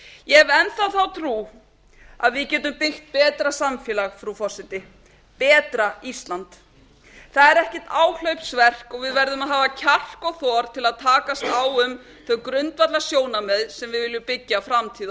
ég hef enn þá þá trú að við getum byggt betra samfélag frú forseti betra ísland það er ekkert áhlaupsverk og við verðum að hafa kjark og þor til að takast á um þau grundvallarsjónarmið sem við viljum byggja framtíð